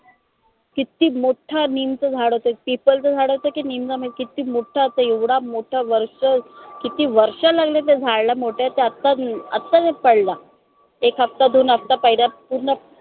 किती मोठं निमचं झाड होत पिपलच झाड होत की निमचं किती मोठं होत एवढं मोठं वर्ष किती वर्ष लागले त्या झाडाला मोठं आता आता पडलं एक हप्ता दोन हप्ता पहले पूर्ण